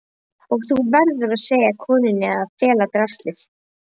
Og þú verður að segja konunni að fela draslið.